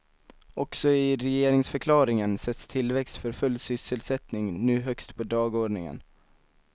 Också i regeringsförklaringen sätts tillväxt för full sysselsättning nu högst på dagordningen.